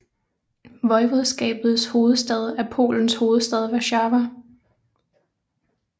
Voivodskabets hovedstad er Polens hovedstad Warszawa